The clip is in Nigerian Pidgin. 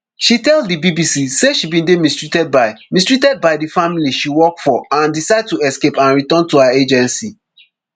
she tell di bbc say she bin dey mistreatedby mistreatedby di family she work for and decide to escape and return to her agency